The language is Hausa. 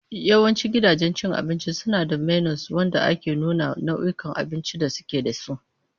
Yawancin gidajen cin abinci suna da menus wanda ke nuna nau'ikan abincin da suke da su.